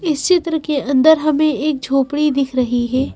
इस चित्र के अंदर हमें एक झोपड़ी दिख रही है।